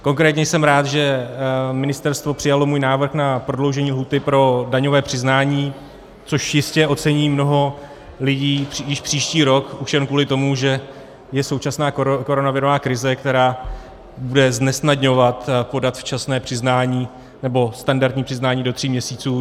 Konkrétně jsem rád, že ministerstvo přijalo můj návrh na prodloužení lhůty pro daňové přiznání, což jistě ocení mnoho lidí již příští rok už jen kvůli tomu, že je současná koronavirová krize, která bude znesnadňovat podat včasné přiznání nebo standardní přiznání do tří měsíců.